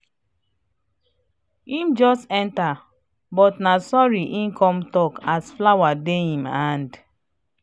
him just enter but na sorry him come talk and flower dey im hand